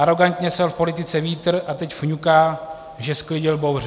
Arogantně sel v politice vítr a teď fňuká, že sklidil bouři.